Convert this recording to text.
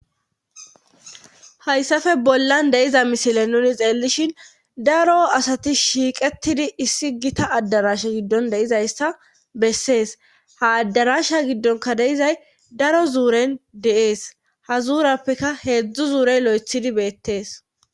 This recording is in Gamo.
hayssafe bollan deiza misile nuni xeellishin daro asati shiiqettidi issi gita addarasha giddon deizayssa bessees ha addarasha giddonka deizay daro zuuren deees ha zuurappeka heedzdzu zuurey lo7ethidi beettees